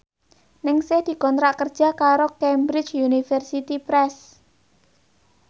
Ningsih dikontrak kerja karo Cambridge Universiy Press